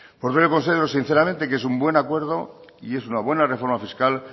por lo tanto yo considero sinceramente que es un buen acuerdo y es una buena reforma fiscal